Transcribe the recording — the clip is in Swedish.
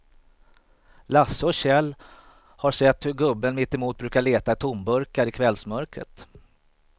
Lasse och Kjell har sett hur gubben mittemot brukar leta tomburkar i kvällsmörkret.